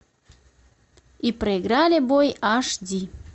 и проиграли бой аш ди